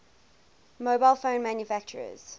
mobile phone manufacturers